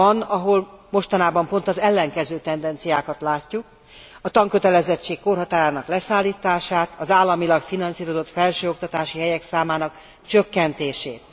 Van, ahol mostanában pont az ellenkező tendenciákat látjuk a tankötelezettség korhatárának leszállítását, az államilag finanszírozott felsőoktatási helyek számának csökkentését.